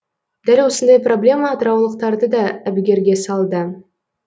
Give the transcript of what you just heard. дәл осындай проблема атыраулықтарды да әбігерге салды